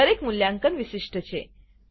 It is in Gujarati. દરેક મૂલ્યાંકન વિશિષ્ટ છે